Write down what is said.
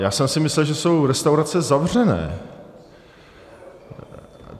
Já jsem si myslel, že jsou restaurace zavřené.